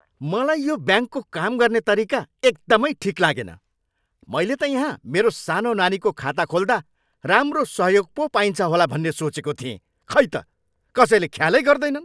मलाई यो ब्याङ्कको काम गर्ने तरिका एकदमै ठिक लागेन। मैले त यहाँ मेरो सानो नानीको खाता खोल्दा राम्रो सहयोग पो पाइन्छ होला भन्ने सोचेको थिएँ। खै त? कसैले ख्यालै गर्दैनन्।